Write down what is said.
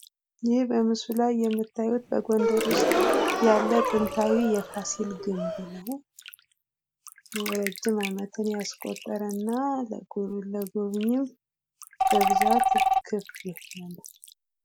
ይህ በምስሉ ላይ የምታዩት በጎንደር ውስጥ ያለ ጥንታዊ የፋሲል ግንብ ነው። እረጅም አመትን ያስቆጠረና ለጎብኝ በስፋት ክፍት የሆነ ነው።